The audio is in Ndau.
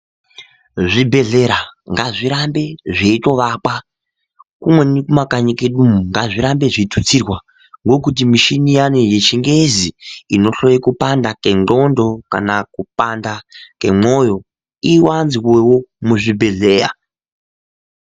Zvibhedhlera ngazvirambe zveivakwa kumweni kumakanyi iyo ngazvirambe zveitutsirwa ngokuti mishini yavo yechingezi inohloya kupanda kwengondxo kana kupanda kwemoyo iwanzwewo muzvibhedhlera.